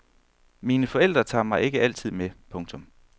Mine forældre tager mig altid med. punktum